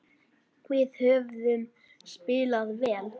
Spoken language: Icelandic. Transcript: Við höfum spilað vel.